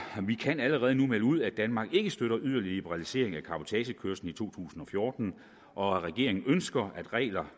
kan allerede nu melde ud at danmark ikke støtter yderligere liberalisering af cabotagekørsel i to tusind og fjorten og at regeringen ønsker regler